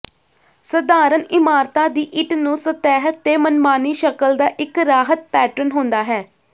ਸਧਾਰਣ ਇਮਾਰਤਾਂ ਦੀ ਇੱਟ ਨੂੰ ਸਤਹ ਤੇ ਮਨਮਾਨੀ ਸ਼ਕਲ ਦਾ ਇੱਕ ਰਾਹਤ ਪੈਟਰਨ ਹੁੰਦਾ ਹੈ